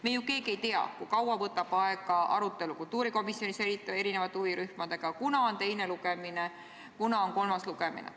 Me ju keegi ei tea, kui kaua võtab aega arutelu kultuurikomisjonis erinevate huvirühmadega, kunas on teine lugemine, kunas on kolmas lugemine.